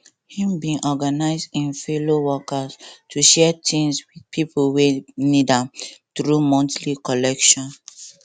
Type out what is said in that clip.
he bin organize im fellow workers to share things with pipo wey need am through monthly collection